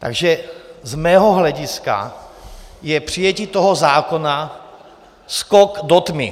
Takže z mého hlediska je přijetí toho zákona skok do tmy.